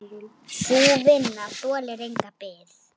Sú vinna þolir enga bið.